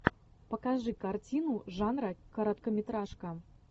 покажи картину жанра короткометражка